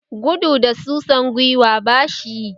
Gudu da susan Giwa bashi yi